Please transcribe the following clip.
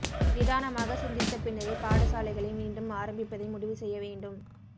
நிதானமாக சிந்தித்த பின்னரே பாடசாலைகளை மீண்டும் ஆரம்பிப்பதை முடிவு செய்ய வேண்டும்